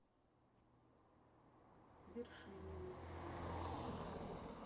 вершинину